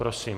Prosím.